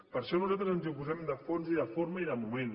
per això nosaltres ens hi oposem de fons i de forma i de moment